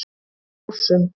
Ásum